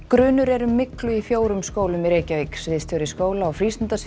grunur er um myglu í fjórum skólum í Reykjavík sviðstjóri skóla og